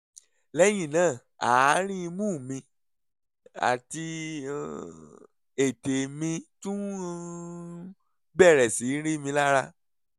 lẹ́yìn náà àárín imú mi àti um ètè mi tún um bẹ̀rẹ̀ sí rí mi lára